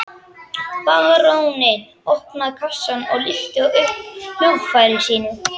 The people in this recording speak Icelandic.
Baróninn opnaði kassann og lyfti upp hljóðfæri sínu.